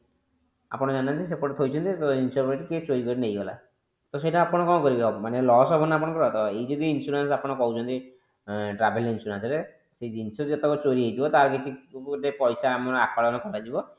ଆପଣ ଜାଣି ନାହାନ୍ତି ସେପଟେ ଥୋଇଛନ୍ତି ତ ଜିନିଷ ପତ୍ର କିଏ ଚୋରି କରି ନେଇଗଲା ତ ସେଇଟା ଆପଣ କଣ କରିବେ ମାନେ loss ହବ ଆପଣଙ୍କର ତ ଏଇ ଯଦି insurance ଆପଣ କହୁଛନ୍ତି travel insurance ରେ ସେ ଜିନିଷ ଯେତକ ଚୋରି ହେଇଯିବ ତାର କିଛି ଗୋଟେ ପଇସା ଆକଳନ କରାଯିବ